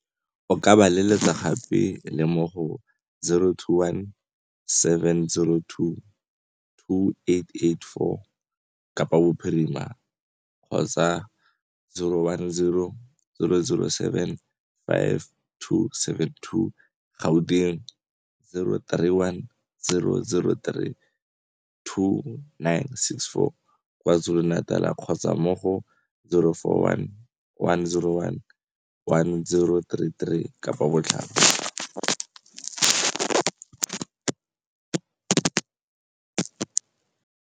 O ka ba letsetsa gape le mo go 021 702 2884, Kapa Bophirima, 010 007 5272, Gauteng, 031 003 2964, KwaZulu-Natal, kgotsa mo go 041 101 1033, Kapa Botlhaba.